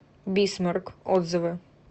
бисмарк отзывы